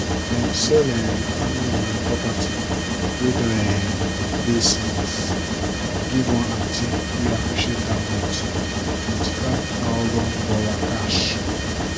dem sell um di family um property wey don um dey since give one auntie wey appreciate am with $25000 cash.